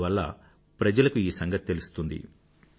అందువల్ల ప్రజలకు ఈ సంగతి తెలుస్తుంది